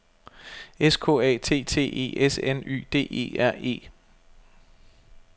S K A T T E S N Y D E R E